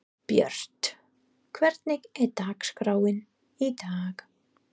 Björt, hvernig er dagskráin í dag?